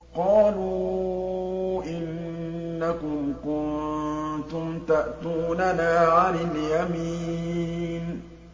قَالُوا إِنَّكُمْ كُنتُمْ تَأْتُونَنَا عَنِ الْيَمِينِ